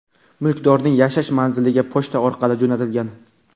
mulkdorning yashash manziliga pochta orqali jo‘natilgan.